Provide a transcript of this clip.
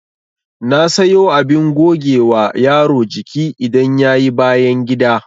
Na sayo abin gogewa yaro jiki idan yayi bayangida